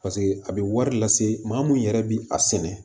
paseke a be wari lase maa munnu yɛrɛ bi a sɛnɛ